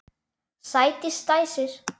Sædís dæsir.